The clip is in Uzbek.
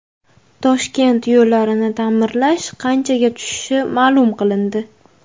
Toshkent yo‘llarini ta’mirlash qanchaga tushishi ma’lum qilindi.